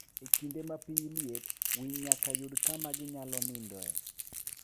E kinde ma piny liet, winy nyaka yud kama ginyalo nindoe.